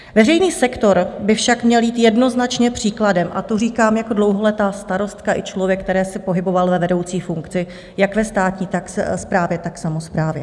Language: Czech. Veřejný sektor by však měl jít jednoznačně příkladem a to říkám jako dlouholetá starostka i člověk, který se pohyboval ve vedoucí funkci jak ve státní správě, tak samosprávě.